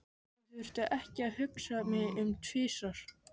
Ég þurfti ekki að hugsa mig um tvisvar.